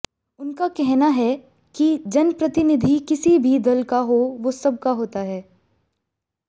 उनका कहना है कि जनप्रतिनिधि किसी भी दल का हो वो सबका होता है